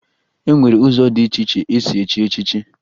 E nwere ụzọ dị iche iche esi echi echichi